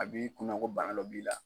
A b'i kunna ko bana dɔ b'i la.